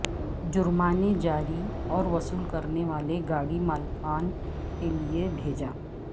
جرمانے جاری اور وصول کرنے والے گاڑی مالکان کے لئے بھیجا